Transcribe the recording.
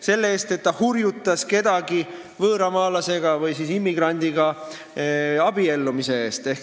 Selle eest, et ta hurjutas kedagi võõramaalase või immigrandiga abiellumise eest.